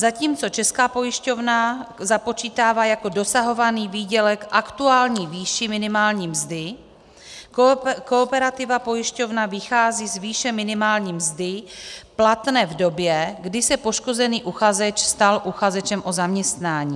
Zatímco Česká pojišťovna započítává jako dosahovaný výdělek aktuální výši minimální mzdy, Kooperativa pojišťovna vychází z výše minimální mzdy platné v době, kdy se poškozený uchazeč stal uchazečem o zaměstnání.